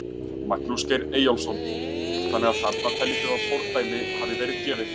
Magnús Geir Eyjólfsson: Þannig að þarna teljið þið að fordæmi hafi verið gefið?